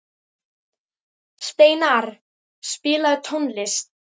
Steinarr, spilaðu tónlist.